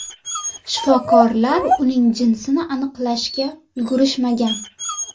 Shifokorlar uning jinsini aniqlashga ulgurishmagan.